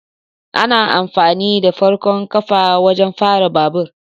Ana amfani da farkon kafa wajen fara babur